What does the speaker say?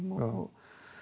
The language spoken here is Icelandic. og